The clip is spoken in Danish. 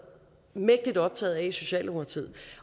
mægtig optaget af i socialdemokratiet